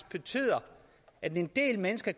betyde at en del mennesker